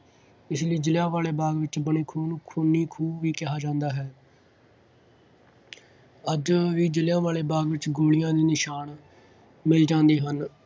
ਇਸ ਲਈ ਜ਼ਲ੍ਹਿਆ ਵਾਲੇ ਬਾਗ ਵਿੱਚ ਬਣੇ ਖੂਹ ਨੂੰ ਖੂਨੀ ਖੂਹ ਵੀ ਕਿਹਾ ਜਾਦਾ ਹੈ। ਅੱਜ ਇਹ ਜ਼ਲ੍ਹਿਆ ਵਾਲੇ ਬਾਗ ਵਿੱਚ ਗੋਲੀਆਂ ਦੇ ਨਿਸ਼ਾਨ ਮਿਲ ਜਾਂਦੇ ਹਨ।